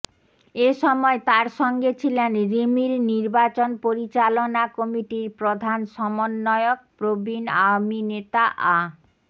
এ সময় তার সঙ্গে ছিলেন রিমির নির্বাচন পরিচালনা কমিটির প্রধান সমন্বয়ক প্রবীণ আওয়ামী নেতা আ